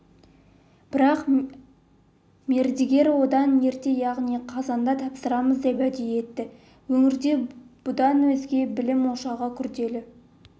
бірақ мердігерлер одан ерте яғни қазанда тапсырамыз деп уәде етті өңірде бұдан өзге білім ошағы күрделі